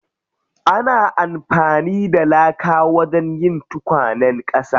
Ana amfani da laka wajen yin tukwanen ƙasa.